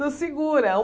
Estou segura.